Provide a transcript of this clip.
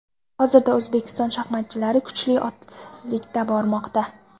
Hozirda O‘zbekiston shaxmatchilari kuchli oltilikda bormoqda.